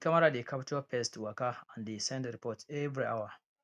di camera dey capture pest waka and dey send report every hour